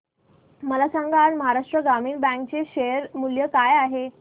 मला सांगा आज महाराष्ट्र ग्रामीण बँक चे शेअर मूल्य काय आहे